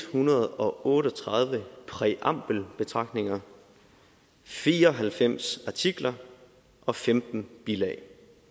hundrede og otte og tredive præambelbetragtninger fire og halvfems artikler og femten bilag